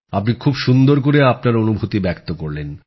আপনি খুব সুন্দর করে আপনার অনুভূতি প্রকাশ করলেন